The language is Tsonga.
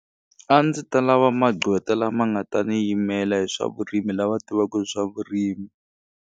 A ndzi ta lava magqwetha lama nga ta ni yimela hi swa vurimi lava tivaku hi swa vurimi.